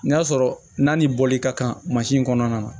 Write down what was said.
N'a sɔrɔ n'a ni bɔli ka kan kɔnɔna na